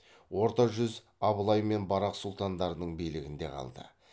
орта жүз абылай мен барақ сұлтандардың билігінде қалды